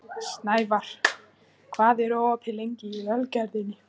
Snævarr, hvað er opið lengi í Ölgerðinni?